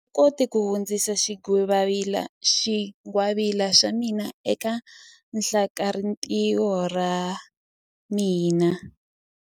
A ndzi koti ku hundzisa xingwavila xa mina eka hlakalarintiho ra ra mina.